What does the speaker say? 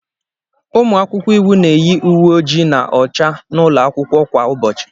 Ụmụ akwụkwọ iwu na-eyi uwe oji na ọcha n'ụlọ akwụkwọ kwa ụbọchị.